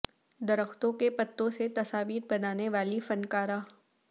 درختوں کے پتوں سے تصاویر بنانے والی فن کارہ